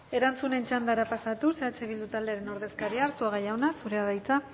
erantzunen txandara pasatuz eh bildu taldearen ordezkaria arzuaga jauna zurea da hitza